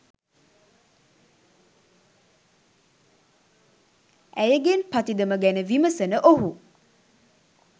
ඇයගෙන් පතිදම ගැන විමසන ඔහු